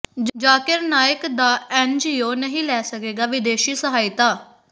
ਜ਼ਾਕਿਰ ਨਾਇਕ ਦਾ ਐੱਨਜੀਓ ਨਹੀਂ ਲੈ ਸਕੇਗਾ ਵਿਦੇਸ਼ੀ ਸਹਾਇਤਾ